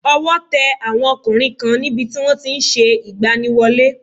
Ọwọ́ te àwọn ọkùnrin kan ní bi tí wọ́n ti n se ìgbaniwọlé